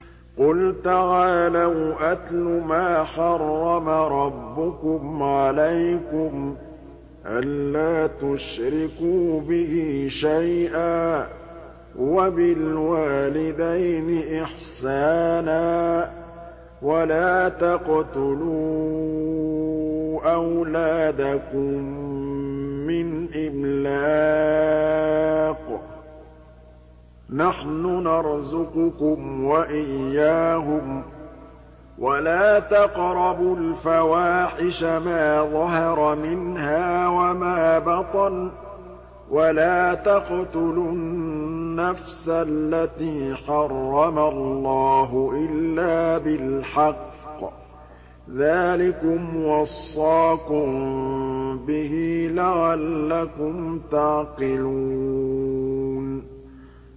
۞ قُلْ تَعَالَوْا أَتْلُ مَا حَرَّمَ رَبُّكُمْ عَلَيْكُمْ ۖ أَلَّا تُشْرِكُوا بِهِ شَيْئًا ۖ وَبِالْوَالِدَيْنِ إِحْسَانًا ۖ وَلَا تَقْتُلُوا أَوْلَادَكُم مِّنْ إِمْلَاقٍ ۖ نَّحْنُ نَرْزُقُكُمْ وَإِيَّاهُمْ ۖ وَلَا تَقْرَبُوا الْفَوَاحِشَ مَا ظَهَرَ مِنْهَا وَمَا بَطَنَ ۖ وَلَا تَقْتُلُوا النَّفْسَ الَّتِي حَرَّمَ اللَّهُ إِلَّا بِالْحَقِّ ۚ ذَٰلِكُمْ وَصَّاكُم بِهِ لَعَلَّكُمْ تَعْقِلُونَ